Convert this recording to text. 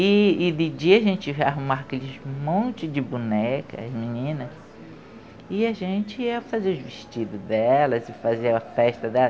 E de dia a gente ia arrumar aquele monte de bonecas, meninas, e a gente ia fazer os vestidos delas e fazer a festa delas.